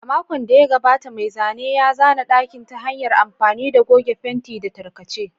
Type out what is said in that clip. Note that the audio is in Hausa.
A makon da ya gabata, mai zanen ya zana ɗakin ta hanyar amfani da goge fenti da tarkace.